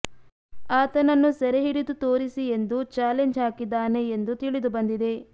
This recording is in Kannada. ಆತನನ್ನು ಸೆರೆಹಿಡಿದು ತೋರಿಸಿ ಎಂದು ಚಾಲೆಂಜ್ ಹಾಕಿದ್ದಾನೆ ಎಂದು ತಿಳಿದು ಬಂದಿದೆ